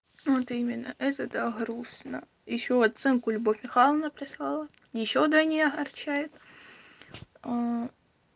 вот именно это так грустно ещё оценку любовь михайловна прислала ещё в двойне огорчает аа